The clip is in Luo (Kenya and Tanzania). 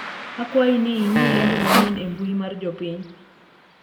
akwayi ni ing'i lendo manyien e mbui mar jopiny